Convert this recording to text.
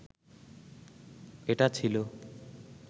এটা ছিল